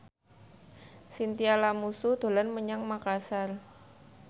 Chintya Lamusu dolan menyang Makasar